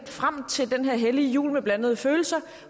frem til den her hellige jul med blandede følelser